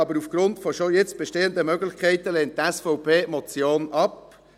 Aber aufgrund schon jetzt bestehender Möglichkeiten lehnt die SVP die Motion ab.